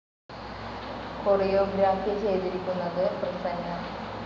കൊറിയോ ഗ്രാഫി ചെയ്തിരിക്കുന്നത് പ്രസന്ന.